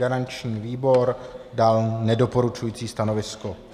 Garanční výbor dal nedoporučující stanovisko.